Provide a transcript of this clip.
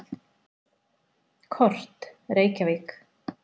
Kort: Reykjavík.